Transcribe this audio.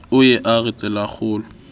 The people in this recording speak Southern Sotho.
o ye a re tselakgolo